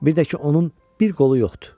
Bir də ki, onun bir qolu yoxdur.